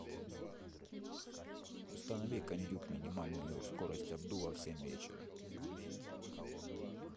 установи кондюк минимальную скорость обдува в семь вечера